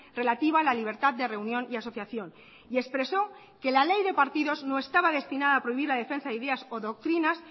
relativa a la libertad de reunión y asociación y expresó que la ley de partidos no estaba destinada a prohibir la defensa de idea o doctrinas